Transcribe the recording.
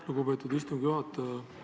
Lugupeetud istungi juhataja!